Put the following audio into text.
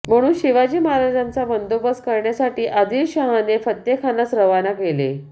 म्हणून शिवाजी महाराजांचा बन्दोबस्त करण्यासाठी आदिलशहाने फत्तेखानास रवाना केले